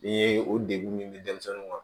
Ni ye o degun min di denmisɛnninw ma